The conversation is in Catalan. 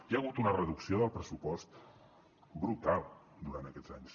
hi ha hagut una reducció del pressupost brutal durant aquests anys